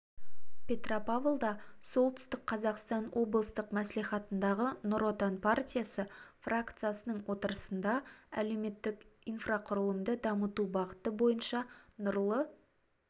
петропавлда солтүстік қазақстан облыстық мәслихатындағы нұр отан партиясы фракциясының отырысында әлеуметтік инфрақұрылымды дамыту бағыты бойынша нұрлы